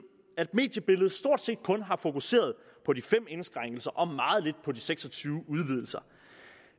at mediebilledet stort set kun har fokuseret på de fem indskrænkelser og meget lidt på de seks og tyve udvidelser